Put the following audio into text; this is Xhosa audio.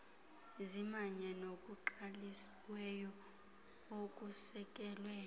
zimanye nokuqaliweyo okusekelwe